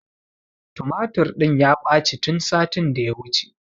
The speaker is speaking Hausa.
Tumatur ɗin ya ɓaci tun satin da ya wuce